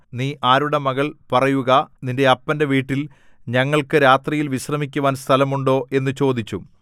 നീ ആരുടെ മകൾ പറയുക നിന്റെ അപ്പന്റെ വീട്ടിൽ ഞങ്ങൾക്കു രാത്രിയിൽ വിശ്രമിക്കുവാൻ സ്ഥലമുണ്ടോ എന്നു ചോദിച്ചു